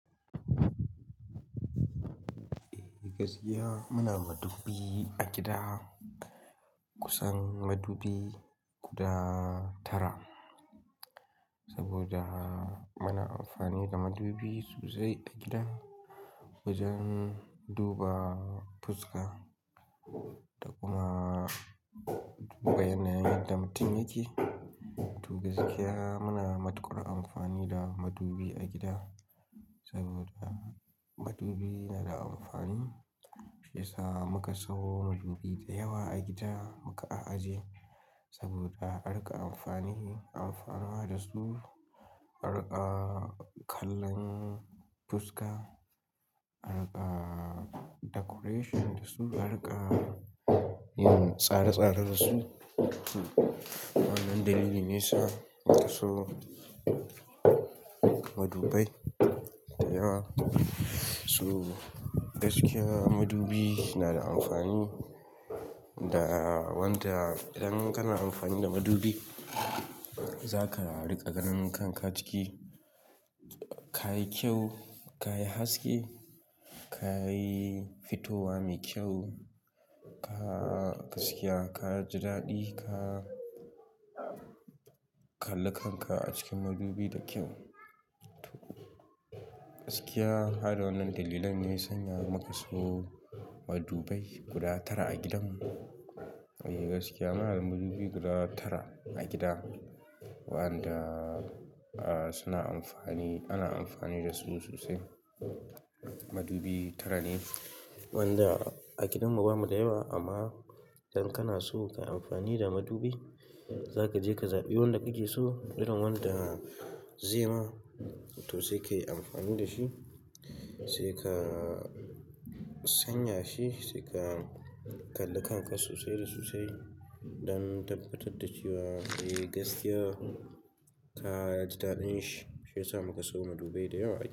Eh gaskiya muna madubbi a gida kusan madubi guda tara. Saboda muna amfani da madubi sosai a gida, wajen duba fuska da kuma duba yanayin yadda mutum yake. To gaskiya muna matuƙar amfani da madubi a gida, saboda madubi na da amfani shiyasa muka sawo madubi da yawa a gida muka a ajiye. Saboda arika amfani, amfanuwa da su, arika kallon fuska, arika decoration da su, arika yin tsare-tsare dasu. Wannan dalilin ne yasa muka sawo madubai da yawa. To gaskiya madubi na da amfani da wanda idan kana amfani da madubi zaka riƙa ganin kanka ciki, ka yi kyau, ka yi haske, ka yi fitowa mai kyau, ka gaskiya ka ji daɗi, ka kalla kanka a cikin madubi da kyau. To gaskiya, har wannan dalilan ne Ya sanya muka sawo madubai guda tara a gidanmu. Eh gaskiya muna da madubi guda tara a gida, waɗanda suna amfani, ana amfani da su sosai. Madubi tara ne, wanda a gidanmu bamu da yawa amma idan kana so ka yi amfani da madubi, zaka je ka zaɓi wanda kake so, irin wanda ze ma toh sai ka yi amfani da shi. Sai ka sanya shi, sai ka kalla kanka sosai da sosai don tabbatar da cewa eh gaskiya ka ji daɗin shi, shi yasa muka sawo madubai da yawa a gida.